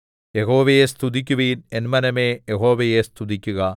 യഹോവയെ സ്തുതിക്കുവിൻ എൻ മനമേ യഹോവയെ സ്തുതിക്കുക